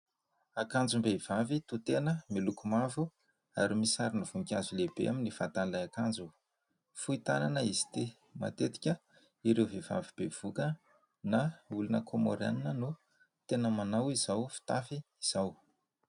Akanjom-behivavy toa tena miloko mavo ary misy sarim-boninkazo lehibe amin'ny vatan'ilay akanjo. Fohy tanana izy ity, matetika ireo vehivavy bevoka na olona Komoriana no tena manao izao fitafy izao